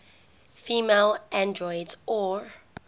female androids or